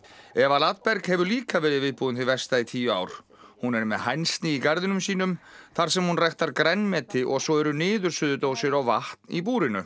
Eva Ladberg hefur líka verið viðbúin því versta í tíu ár hún er með hænsni í garðinum sínum þar sem hún ræktar grænmeti og svo eru niðursuðudósir og vatn í búrinu